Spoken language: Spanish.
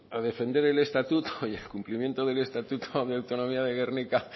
a defender el estatuto y al cumplimiento del estatuto autonomía de gernika